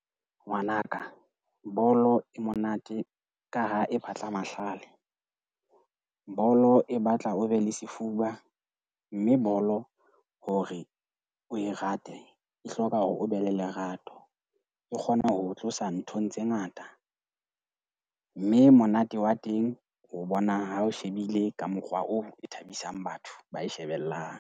Ngwana ka, bolo e monate ka ha e batla mahlale. Bolo e batla o be le sefuba. Mme bolo hore o e rate, e hloka hore o be le lerato. Ke kgona ho tlosa nthong tse ngata, mme monate wa teng o bona ha o shebile ka mokgwa oo e thabisang batho ba e shebellang.